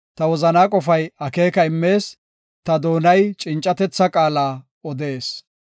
Ta wozanaa qofay akeeka immees; ta doonay cincatetha qaala odetees.